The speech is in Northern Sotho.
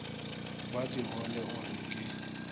ba digole o re ke